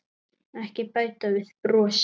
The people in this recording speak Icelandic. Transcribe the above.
Ekki bæta við brosi.